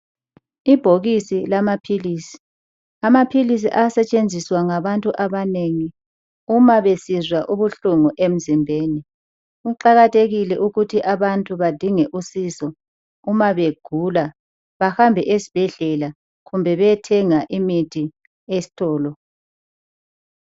Ibhokisi lamaphilisi. Amaphilisi ayasetshenziswa ngabantu abanengi uma besizwa ubuhlungu emzimbeni . Kuqakathekile ukuthi abantu bedinge usizo uma begula kumbe bayethenga imithi esitolo.